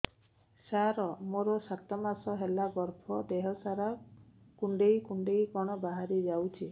ସାର ମୋର ସାତ ମାସ ହେଲା ଗର୍ଭ ଦେହ ସାରା କୁଂଡେଇ କୁଂଡେଇ କଣ ବାହାରି ଯାଉଛି